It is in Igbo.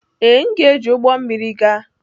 Ee, m ga-eji ụgbọ mmiri gaa.